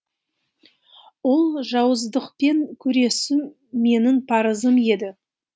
ол жауыздықпен күресу менің парызым еді